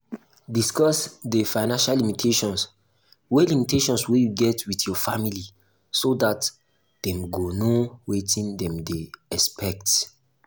discuss di financial limitations wey limitations wey you get with your family so dat dem go know wetin dem dey expect